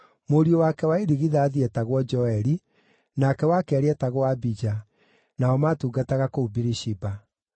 Mũriũ wake wa irigithathi eetagwo Joeli, nake wa keerĩ eetagwo Abija, nao maatungataga kũu Birishiba.